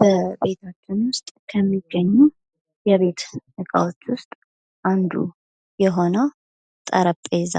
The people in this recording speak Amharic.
በቤታችን ከሚገኙ የቤት ዕቃዎች ውስጥ አንዱ የሆነው ጠረጴዛ